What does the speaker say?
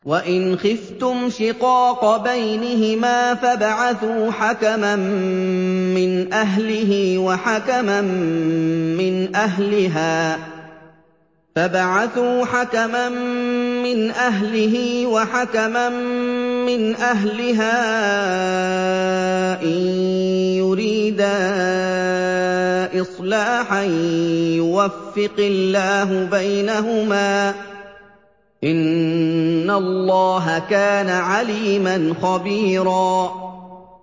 وَإِنْ خِفْتُمْ شِقَاقَ بَيْنِهِمَا فَابْعَثُوا حَكَمًا مِّنْ أَهْلِهِ وَحَكَمًا مِّنْ أَهْلِهَا إِن يُرِيدَا إِصْلَاحًا يُوَفِّقِ اللَّهُ بَيْنَهُمَا ۗ إِنَّ اللَّهَ كَانَ عَلِيمًا خَبِيرًا